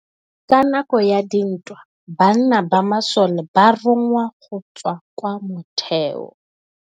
Ka nakô ya dintwa banna ba masole ba rongwa go tswa kwa mothêô.